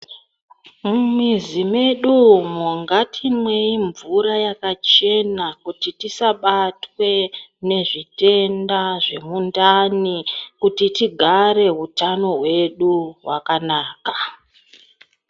Mumizi medumo ngatimwei mvura yakachena kuti tisabatwe nezvitenda zvemundani kuti tigare utano hwedu hwakanaka.